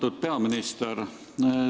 Austatud peaminister!